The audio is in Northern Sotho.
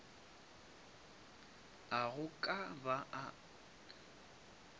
a go ka ba a